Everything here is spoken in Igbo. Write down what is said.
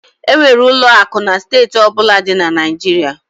E nwere ụlọ akụ na steeti ọ bụla di na Naịjirịa.